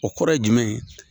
O kɔrɔ ye jumɛn ye